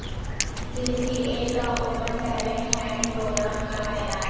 J C A کا open talent hunt programme کا اعلان